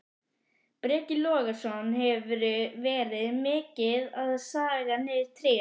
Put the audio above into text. Breki Logason: Hefurðu verið mikið að saga niður tré?